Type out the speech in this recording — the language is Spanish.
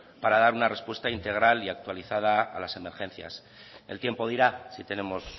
para dar una respuesta integral y actualizada a las emergencias el tiempo dirá si tenemos